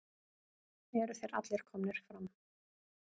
Eru þeir allir komnir fram?